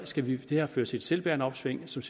skal det her føre til et selvbærende opsving som